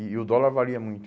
E o dólar varia muito.